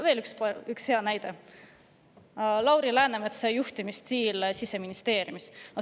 Veel üks hea näide on Lauri Läänemetsa juhtimisstiil Siseministeeriumis.